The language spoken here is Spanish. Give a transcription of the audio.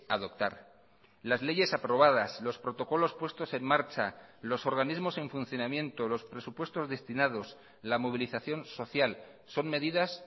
adoptar las leyes aprobadas los protocolos puestos en marcha los organismos en funcionamiento los presupuestos destinados la movilización social son medidas